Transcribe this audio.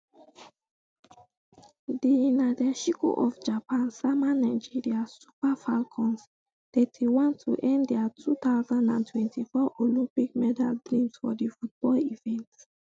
di nadeshiko of japan sama nigeria super falcons thirty-one to end dia two thousand and twenty-four olympic medal dreams for di football event